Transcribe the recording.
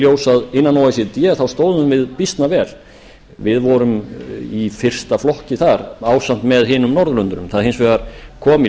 ljós að innan o e c d stóðum við býsna vel við vorum í fyrsta flokki þar ásamt með öðrum norðurlöndum það kom hins vegar í